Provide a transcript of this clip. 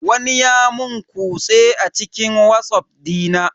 Wani ya mun kutse a cikin watsaff dina.